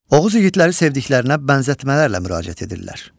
Oğuz igidləri sevdiklərinə bənzətmələrlə müraciət edirlər.